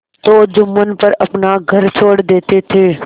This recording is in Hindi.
तो जुम्मन पर अपना घर छोड़ देते थे